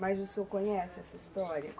Mas o senhor conhece essa história?